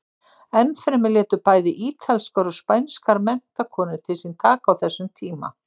Enn fremur létu bæði ítalskar og spænskar menntakonur til sín taka á þessum tíma.